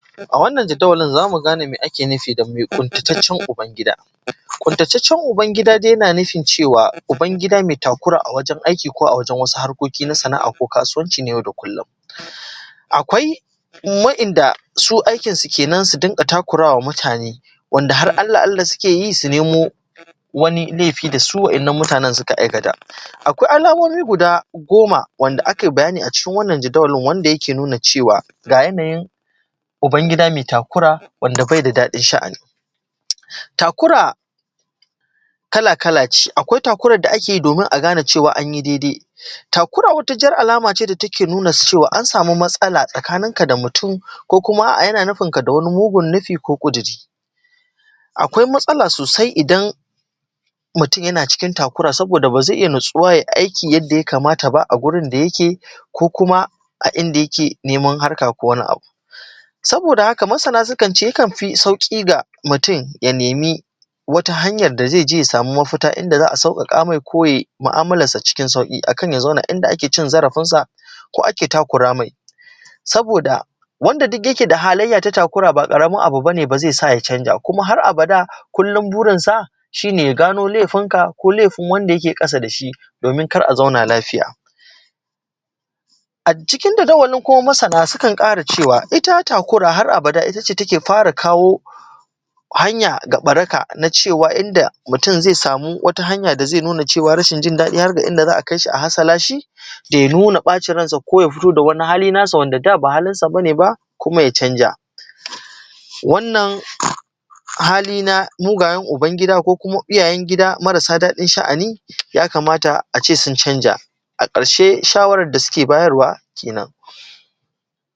a wannan jadawalin za mu gane me ake nufi da mai ƙuntataccen uban gida ƙuntataccen uban gida dai na nufin cewa uban gida mai takura a wajen aiki ko a wajen wasu harkoki na sana’a ko kasuwanci na yau da kullum akwai waɗanda su aikinsu kenan su dinga takura wa mutane wanda har alla alla suke yi su nemo wani laifi da su waɗannan mutanen suka aikata akwai alamomi guda goma wanda aka yi bayani a cikin wannan jadawalin wanda yake nuna cewa ga yanayin uban gida mai takura wanda bai da daɗin sha'ani takura kala kala ce akwai takurar da ake yi domin a gane cewa an yi daidai takura wata jar alama ce da take nuna cewa an sa:mu matsala tsakaninka da mutum ko kuma a’a yana nufinka da wani mugun nufi ko ƙuduri akwai matsala sosai idan mutum yana cikin takura saboda ba zai iya natsuwa ya yi aiki yadda ya kamata ba a gurin da yake ko kuma a inda yake neman harka ko kuma wani abu saboda haka masana sukan ce yakan fi sauƙi ga mutum ya nemi wata hanyar da zai je ya samu mafita inda za a sauƙaƙa mai ko ya yi mu’amalarsa cikin sauƙi a kan ya zauna inda ake cin zarafinsa ko ake takura mai saboda wanda duk yake da halayya ta takura ba ƙaramin abu ba ne ba zai sa ya canza kuma har abada kullum burinsa shi ne ya gano laifinka ko laifin wanda yake ƙasa da shi domin kar a zauna lafiya a cikin jadawalin kuma masana suka ƙara cewa ita takura har abada ita ce take fara kawo hanya ga ɓaraka na cewa inda mutum zai samu wata hanya da zai nuna cewa rashin jin daɗi har ga inda za a kai shi a hasala shi bai nuna ɓacin ransa ba ko bai fito da wani hali nasa wanda da ba halinsa ba ne ba kuma ya canza wannan hali na mugayen uban gida ko kuma iyayen gida marasa daɗin sha’ani ja kamata a ce sun canza a ƙarshe shawarar da suke bayarwa kenan